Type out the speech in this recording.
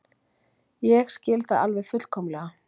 Ég skil það alveg fullkomlega.